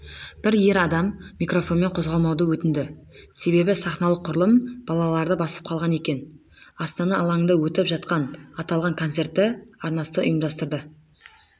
бір ер адам микрофонмен қозғалмауды өтінді себебі сахналық құрылым балаларды басып қалған екен астана алаңында өтіп жатқан аталған концертті арнасы ұйымдастырды